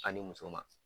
A ni muso ma